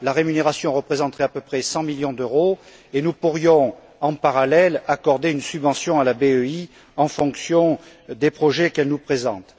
La rémunération représenterait à peu près 100 millions d'euros et nous pourrions, en parallèle, accorder une subvention à la BEI en fonction des projets qu'elle nous présente.